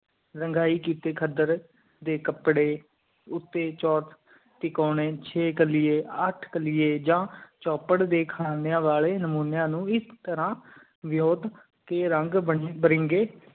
ਰੰਗਾਯੀ ਕੀਤੀ ਕੰਧਾਰ ਓਟਟੀ ਚੋਥ ਤਿਕੋਨੀ ਚੇ ਕਾਲੀਏ ਅਠ ਕਾਲੀਏ ਚੋਪੜ ਡੇ ਖੰਡੀਆਂ ਵਾਲੀ ਨਾਮੋਨੀ ਨੂੰ ਇਸ ਤਰਾਹ ਵਯੋਤ ਕ ਰੰਗ ਬਿਰੰਗੇ